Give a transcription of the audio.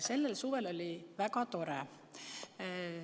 Sellel suvel oli väga tore.